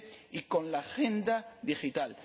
y con la Agenda Digital.